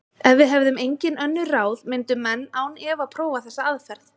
Ef við hefðum engin önnur ráð myndu menn án efa prófa þessa aðferð.